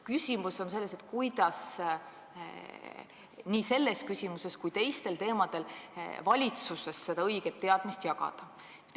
Küsimus on selles, kuidas nii selles küsimuses kui teistes küsimustes seda õiget teadmist jagada.